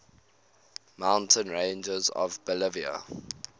mountain ranges of bolivia